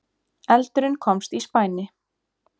Eldurinn komst í spæni